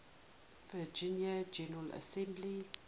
virginia general assembly